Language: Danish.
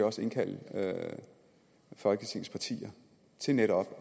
også indkaldt folketingets partier til netop